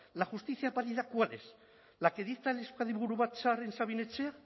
la justicia válida cuál es la que dicta el euskadi buru batzar en sabin etxea